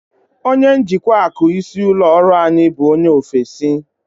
Onye njikwa akụ isi ụlọ ọrụ anyị bụ onye ofesi.